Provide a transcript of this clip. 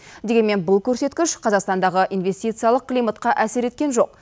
дегенмен бұл көрсеткіш қазақстандағы инвестициялық климатқа әсер еткен жоқ